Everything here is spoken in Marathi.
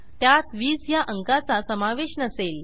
त्यात 20 ह्या अंकाचा समावेश नसेल